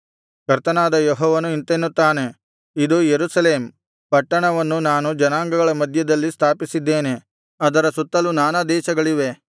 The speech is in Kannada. ಕರ್ತನಾದ ಯೆಹೋವನು ಇಂತೆನ್ನುತ್ತಾನೆ ಇದು ಯೆರೂಸಲೇಮ್ ಪಟ್ಟಣವನ್ನು ನಾನು ಜನಾಂಗಗಳ ಮಧ್ಯದಲ್ಲಿ ಸ್ಥಾಪಿಸಿದ್ದೇನೆ ಅದರ ಸುತ್ತಲು ನಾನಾ ದೇಶಗಳಿವೆ